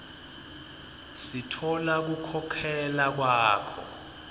sitfola kukhokhela kwakho